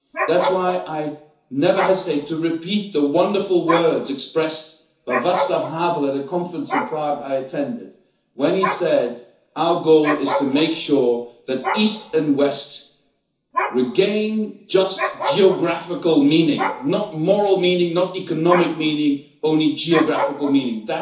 That is why I never hesitate to repeat the wonderful words expressed by Václav Havel at a conference I attended in Prague, when he said Our goal is to make sure that East and West regain just geographical meaning, not moral meaning, not economic meaning, only geographical meaning'.